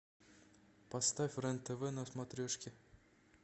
поставь рен тв на смотрешке